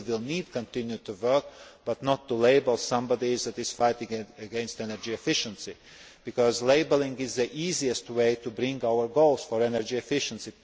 We will need to continue to work, but not to label somebody that is fighting against energy efficiency, because labelling is the easiest way to bring about our goals for energy efficiency.